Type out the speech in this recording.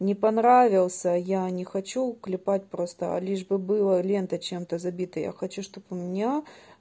не понравился я не хочу клепать просто лишь бы было лента чем-то забита я хочу чтобы у меня